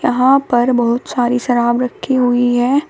यहां पर बहुत सारी शराब रखी हुई है।